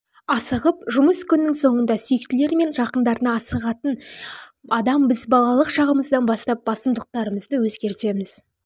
асығып жұмыс күнінің соңында сүйіктілері мен жақындарына асығантын адам біз балалық шағымыздан бастап басымдылықтарымызды өзгертеміз